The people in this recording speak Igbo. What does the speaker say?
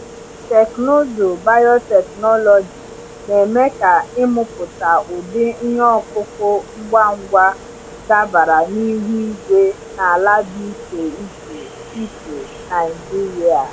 Teknụzụ biotechnology na-eme ka ịmụpụta ụdị ihe ọkụkụ ngwa ngwa dabara na ihu igwe na ala dị iche iche iche Naijiria.